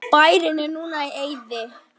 Bærinn er núna í eyði.